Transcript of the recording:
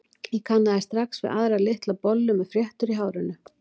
Ég kannaðist strax við aðra, litla bollu með fléttur í hárinu.